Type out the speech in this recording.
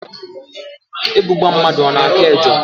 Ebu gbaa mmadụ, ọ na-eko ejo